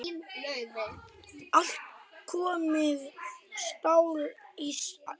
Allt komið stál í stál.